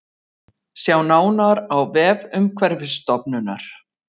Sjá nánar á vef Umhverfisstofnunar